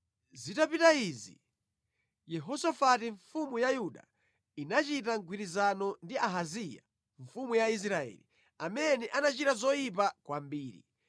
Zitapita izi, Yehosafati mfumu ya Yuda inachita mgwirizano ndi Ahaziya mfumu ya Israeli, amene anachita zoyipa kwambiri.